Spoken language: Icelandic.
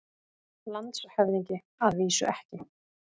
LANDSHÖFÐINGI: Að vísu ekki.